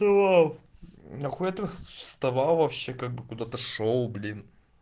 вставал нахуя ты вставал вообще как бы куда шёл блин